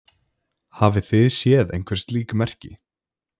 Hafið þið séð einhver slík merki?